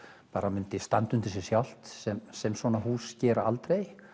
myndi standa undir sér sjálft sem sem svona hús gera aldrei